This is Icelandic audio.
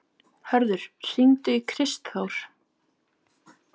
Hörður, hringdu í Kristþór.